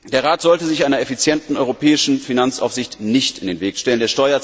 Der Rat sollte sich einer effizienten europäischen Finanzaufsicht nicht in den Weg stellen.